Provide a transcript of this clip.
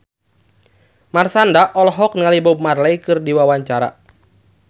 Marshanda olohok ningali Bob Marley keur diwawancara